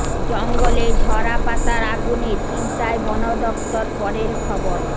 জঙ্গলে ঝরা পাতার আগুনে চিন্তায় বন দপ্তর পরের খবর